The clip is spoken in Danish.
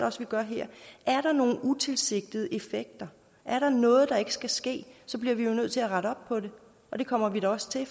også vi gør her er der nogle utilsigtede effekter og er der noget der ikke skal ske så bliver vi nødt til at rette op på det og det kommer vi da også til